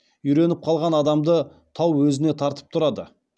үйреніп қалған адамды тау өзіне тартып тұрады